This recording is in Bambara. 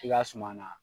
I ka suma na